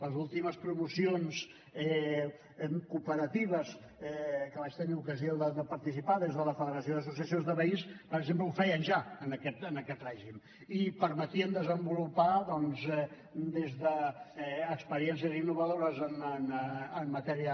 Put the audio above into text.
les últimes promocions cooperatives en què vaig tenir ocasió de participar des de la federació d’associació de veïns per exemple ho feien ja en aquest règim i permetien desenvolupar doncs des d’experiències innovadores en matèria